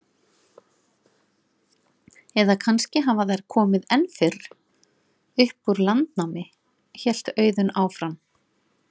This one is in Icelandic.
Eða kannski hafa þær komið enn fyrr, upp úr landnámi, hélt Auðunn áfram.